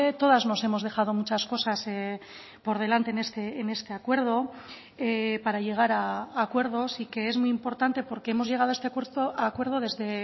todas nos hemos dejado muchas cosas por delante en este acuerdo para llegar a acuerdos y que es muy importante porque hemos llegado a este acuerdo desde